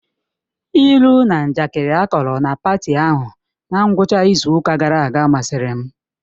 Ilu na njakịrị akọrọ na paati ahụ na ngwụcha izu ụka gara aga masịrị m